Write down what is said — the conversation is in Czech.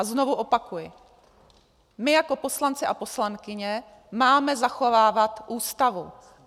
A znovu opakuji, my jako poslanci a poslankyně máme zachovávat Ústavu.